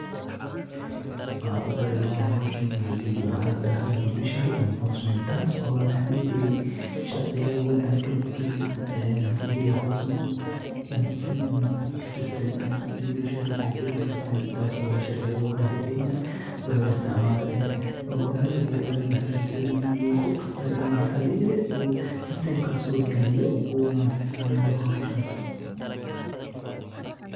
Nidaamka e-filingka ee garsoorka waa hab casri ah oo kor u qaadaya hufnaanta iyo hufnaanta howlaha garsoorka iyadoo lagu badbaadinayo waqti, lacag, iyo dadaal. Habkan dijitaalka ah wuxuu u oggolaanayaa qareennada, dacwad-oogayaasha, iyo dadka kale ee ku lugta leh kiisaska sharci inay si elektaroonig ah u gudbiyaan dukumentiyada dacwadda.